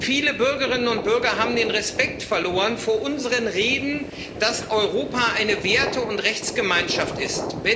Viele Bürgerinnen und Bürger haben den Respekt verloren vor unseren Reden, dass Europa eine Werte und Rechtsgemeinschaft ist.